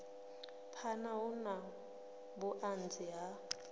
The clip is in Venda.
phana hu na vhuanzi ha